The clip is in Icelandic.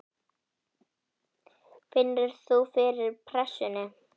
Finnur þú fyrir pressunni?